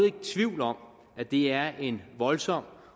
ikke tvivl om at det er en voldsom